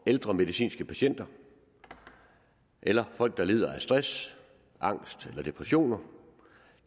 ældre medicinske patienter eller folk der lider af stress angst eller depressioner